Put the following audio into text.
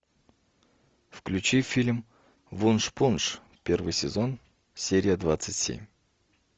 включи фильм вуншпунш первый сезон серия двадцать семь